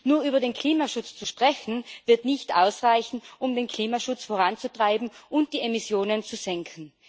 Nur über den Klimaschutz zu sprechen, wird nicht ausreichen, um den Klimaschutz voranzutreiben und die Emissionen zu senken.